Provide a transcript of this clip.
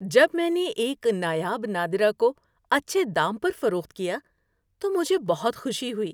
جب میں نے ایک نایاب نادرہ کو اچھے دام پر فروخت کیا تو مجھے بہت خوشی ہوئی۔